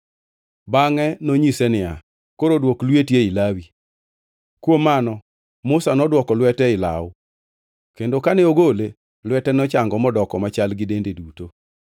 Bangʼe nonyise niya, “Koro dwok lweti ei law.” Kuom mano, Musa nodwoko lwete ei law, kendo kane ogole, lwete nochango modoko machal gi dende duto.